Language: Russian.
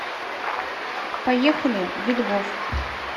поехали видгоф